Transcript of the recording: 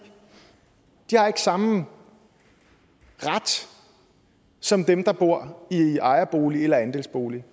de har ikke samme ret som dem der bor i ejerbolig eller andelsbolig